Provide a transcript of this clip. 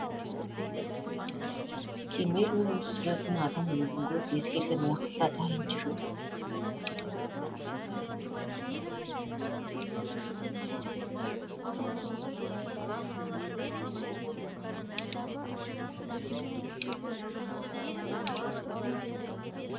кемел өмір сүретін адам өлімге кез келген уақытта дайын жүреді